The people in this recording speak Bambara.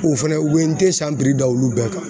O fɛnɛ u be n te san piri da olu bɛɛ kan.